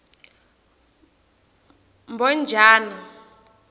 mbhojana